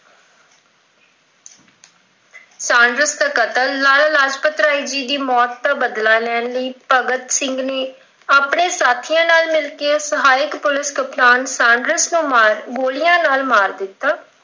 Saunders ਦਾ ਕਤਲ, ਲਾਲਾ ਲਾਜਪਤ ਰਾਏ ਜੀ ਦੀ ਮੌਤ ਦਾ ਬਦਲਾ ਲੈਣ ਲਈ ਭਗਤ ਸਿੰਘ ਨੇ ਆਪਣੇ ਸਾਥੀਆਂ ਨਾਲ ਮਿਲ ਕਿ ਸਹਾਇਕ ਪੁਲਿਸ ਕਪਤਾਨ Saunders ਨੂੰ ਮਾਰ ਅਹ ਗੋਲਿਆਂ ਨਾਲ ਮਾਰ ਦਿੱਤਾ।